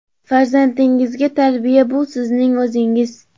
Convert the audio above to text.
Farzandingizga tarbiya — bu sizning o‘zingiz.